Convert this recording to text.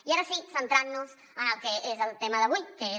i ara sí centrant nos en el que és el tema d’avui que és